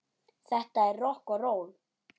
Þetta er rokk og ról.